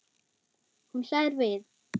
Hún hlær við.